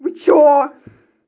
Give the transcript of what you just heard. вы что